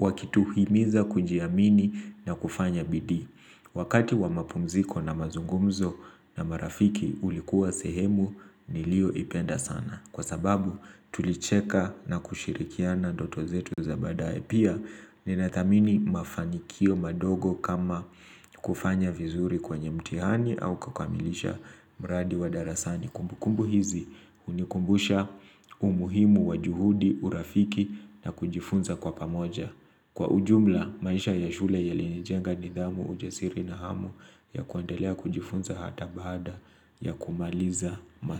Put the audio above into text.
wakituhimiza kujiamini na kufanya bidii Wakati wa mapumziko na mazungumzo na marafiki ulikuwa sehemu niliyoipenda sana. Kwa sababu tulicheka na kushirikiana ndoto zetu za baadaye. Pia, ninathamini mafanikio madogo kama kufanya vizuri kwenye mtihani au kukamilisha mradi wa darasani. Kumbukumbu hizi hunikumbusha umuhimu wa juhudi urafiki na kujifunza kwa pamoja. Kwa ujumla maisha ya shule yalinijenga nidhamu ujasiri na hamu ya kuendelea kujifunza hata bada ya kumaliza masomo.